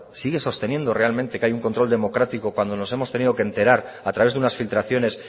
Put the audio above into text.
sigue sosteniendo realmente que hay un control democrático cuando nos hemos tenido que enterar a través de unas filtraciones